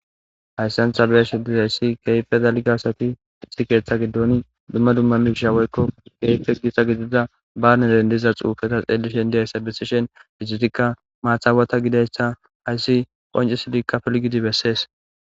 Hayssan tha be7ashee dizayssi keehippe dalgga asathi issi keeththa giddooni dumma dumma miishsha woykko ereththes gixa gidiza baaneren diza xuufetha xeellishen diya asa bessishen izethikka maathaawatha gidezayssa qassi qonccissidikka pilggidi bessees.